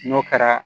N'o kɛra